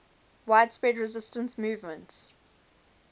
widespread resistance movements